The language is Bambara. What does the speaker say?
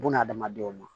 Buna adamadenw ma